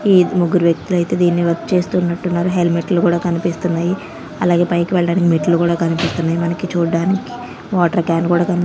ఈ ముగ్గురు వ్యక్తులు అయితే దీన్ని వర్క్ చేస్తున్నట్టు ఉన్నారు హెల్మెట్లు కూడా కనిపిస్తున్నాయి అలాగే పైకి వెల్లడానికి మెట్లు కుడా కనిపిస్తున్నాయి మనకి చుడ్డానికి వాటర్ కాన్ కుడా కనిపి--